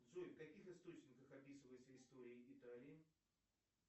джой в каких источниках описывается история италии